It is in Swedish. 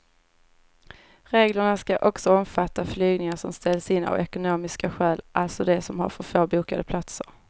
Reglerna ska också omfatta flygningar som ställs in av ekonomiska skäl, alltså de som har för få bokade platser.